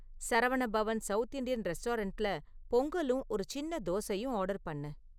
Saravana Bhavan south Indian ரெஸ்டாரன்ட்ல பொங்கலும் ஒரு சின்ன தோசையும் ஆர்டர் பண்ணு